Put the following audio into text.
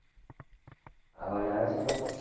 અવાજ આવે છે, મારો?